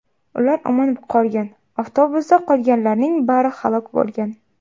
Ular omon qolgan, avtobusda qolganlarning bari halok bo‘lgan.